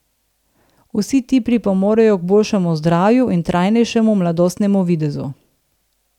Vsi ti pripomorejo k boljšemu zdravju in trajnejšemu mladostnemu videzu.